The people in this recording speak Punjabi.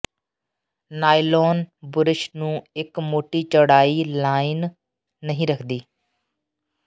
ਨਾਇਲੋਨ ਬੁਰਸ਼ ਨੂੰ ਇੱਕ ਮੋਟੀ ਚੌੜਾਈ ਲਾਈਨ ਨਹੀਂ ਰੱਖਦੀ